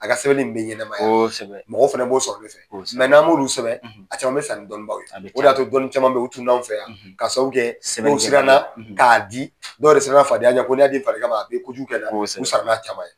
A ka sɛbɛn bɛ ɲɛnama mɔgɔ fana b'o sɔrɔ o fɛ mɛ n'an m'olu sɛbɛ, a caman bɛ san ni dɔnnibaw ye o de y'a to dɔnni caman bɛ tunu an fɛ yan, ka sababu kɛ sɛbɛn dɔW yɛrɛ siranna k'a di ,dɔw yɛrɛ sira na fadenyaye, ko ni y'a di faden ma a bɛ kojugu kɛ n la, u sara n'a caman ye.